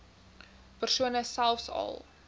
persone selfs al